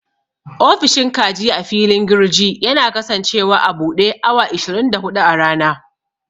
Ofishin kaji a filin girji yana kasancewa a buɗe awa ashirin da huɗu a rana.